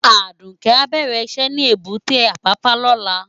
Aduke á bèrè iṣè ni ébùté Apapa lòlá